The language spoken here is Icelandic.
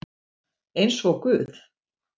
Eins og guð